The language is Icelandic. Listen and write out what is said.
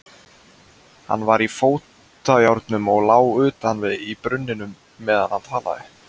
Hann var í fótajárnum og lá utan í brunninum meðan hann talaði.